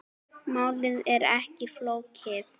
Málið er ekki flókið.